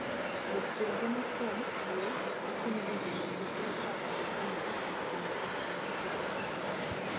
Jopur geno kuom le makonyo e golo kute kaka ongogo mondo okonygi pidho cham.